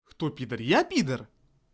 кто пидор я пидор